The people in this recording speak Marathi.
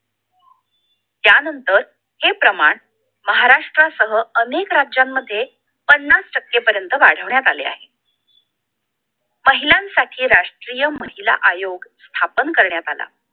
त्यानंतर हे प्रमाण महाराष्ट्रा सह अनेक राज्यामध्ये पन्नास टक्के पर्यंत वाढवण्यात आले आहे महिलांसाठी राष्ट्रीय महिला आयोग स्थापन करण्यात आला